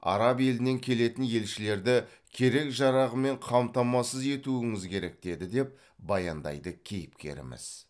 араб елінен келетін елшілерді керек жарағымен қамтамасыз етуіңіз керек деді деп баяндайды кейіпкеріміз